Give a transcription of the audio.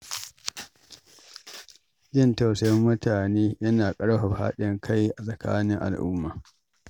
Jin tausayin mutane yana ƙarfafa haɗin kai a tsakanin al’umma.